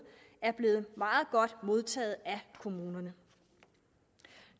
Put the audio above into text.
er blevet meget godt modtaget af kommunerne